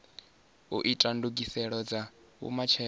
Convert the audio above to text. u ita ndugiselo dza vhumatshelo